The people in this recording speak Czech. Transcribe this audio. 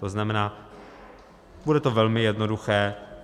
To znamená, bude to velmi jednoduché.